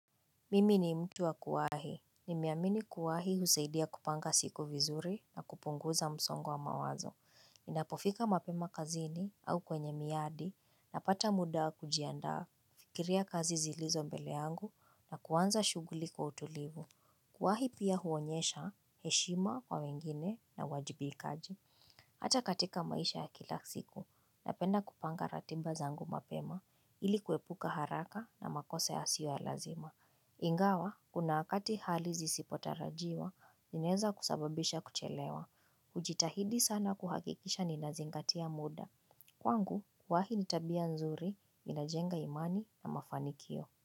Mimi ni mtu wa kuwahi. Nimeamini kuwahi husaidia kupanga siku vizuri na kupunguza msongo wa mawazo. Ninapofika mapema kazini au kwenye miadi na pata muda wa kujiandaa, nikifikiria kazi zilizo mbele yangu na kuanza shughuli kwa utulivu. Kuwahi pia huonyesha heshima kwa wengine na uwajibikaji. Hata katika maisha ya kila siku, napenda kupanga ratiba zangu mapema ili kuepuka haraka na makosa yasiyo ya lazima. Ingawa, kuna wakati hali zisipo tarajiwa, zinaeza kusababisha kuchelewa. Hujitahidi sana kuhakikisha ni na zingatia muda. Kwangu, kuwahi nitabia nzuri, inajenga imani na mafanikio.